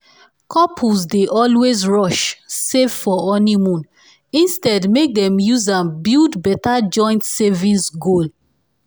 couples dey always rush save for honeymoon instead make dem use am build better joint savings goal